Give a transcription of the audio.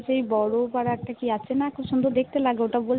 সেই বড় একটা কি আছে না খুব সুন্দর দেখতে লাগে ওটা